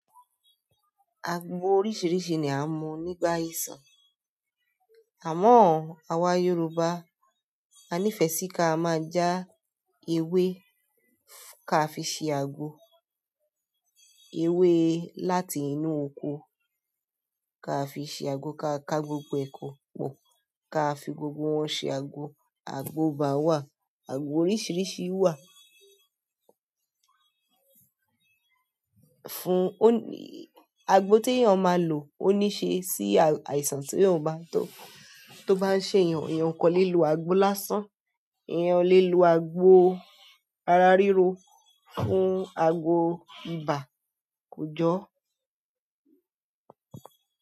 Aago oríṣìíríṣìí ni a mọ nígbà ìsàn. Àmọ́ àwa Yorùbá a nífẹ̀ẹ́ sí ká máa ja ewé ká fi ṣe àgbo. Ewé láti inú òko ká fi ṣe àgbo, ká ká gbogbo ẹ̀ ko pọ, ká fi gbogbo wọn ṣe àgbo. Àgbo ibà wà, àgbo oríṣìíríṣìí wà. Fún òní àgbò ti èèyàn máa lò òní ṣe si àìsàn tí o bá n ṣe èèyàn. Èèyàn kò lè lo àgbo lásán, èèyàn lè lo àgbo ara ríro fún àgbo ibà kùjọ.